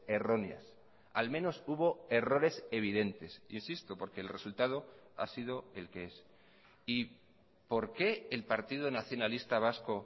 erróneas a al menos hubo errores evidentes insisto porque el resultado ha sido el que es y por qué el partido nacionalista vasco